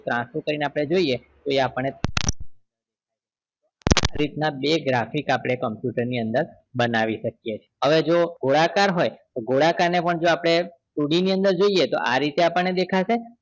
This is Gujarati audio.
આમ ત્રાંસુ કરી ને આપડે જોઈએ તો એ આપણને આ રીત ના બે graphic આપડે computer ની અંદર બનાવી શકીએ છીએ હવે જોવો ગોળાકાર હોય તો ગોળાકાર ને પણ જો આપડે two D ની અંદર જોઈએ તો આ રીતે આપણને દેખાશે